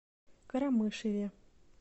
карамышеве